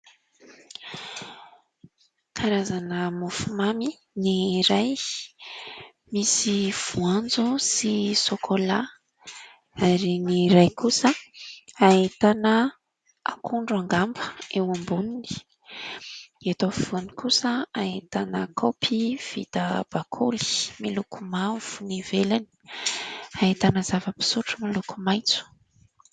Karazana mofo mamy, ny iray misy voanjo sy sôkolà ary ny iray kosa ahitana akondro angamba eo amboniny. Eto afovoany kosa ahitana kaopy vita bakoly miloko mavo ny ivelany. Ahitana zava-pisotro miloko maitso.